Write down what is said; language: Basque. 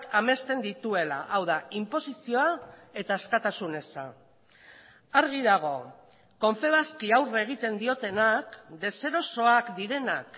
amesten dituela hau da inposizioa eta askatasun eza argi dago confebaski aurre egiten diotenak deserosoak direnak